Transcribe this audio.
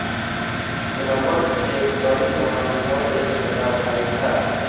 रमण एक बड़ी बहन और एक छोटा भाई था